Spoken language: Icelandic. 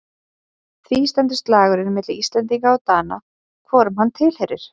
Því stendur slagurinn milli Íslendinga og Dana hvorum hann tilheyrir.